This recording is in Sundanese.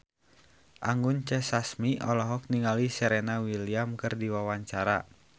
Anggun C. Sasmi olohok ningali Serena Williams keur diwawancara